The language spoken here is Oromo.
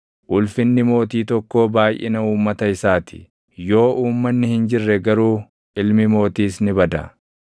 Ulfinni mootii tokkoo baayʼina uummata isaa ti; yoo uummanni hin jirre garuu ilmi mootiis ni bada.